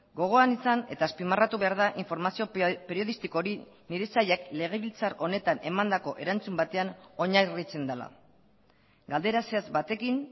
gogoan izan eta azpimarratu behar da informazio periodistiko hori nire sailak legebiltzar honetan emandako erantzun batean oinarritzen dela galdera zehatz batekin